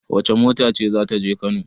Wace mota ce za ta je Kano?